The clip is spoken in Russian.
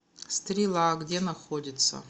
стрела где находится